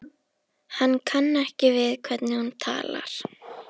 Hann kann ekki við hvernig hún talar.